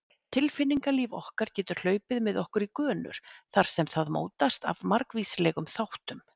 Tilfinningalíf okkar getur hlaupið með okkur í gönur þar sem það mótast af margvíslegum þáttum.